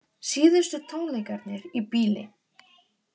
Síðustu tónleikarnir í bili